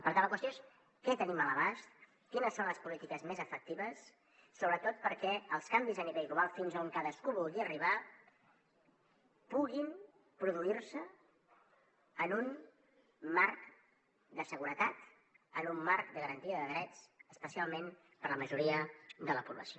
per tant la qüestió és què tenim a l’abast quines són les polítiques més efectives sobretot perquè els canvis a nivell global fins a on cadascú vulgui arribar puguin produir se en un marc de seguretat en un marc de garantia de drets especialment per a la majoria de la població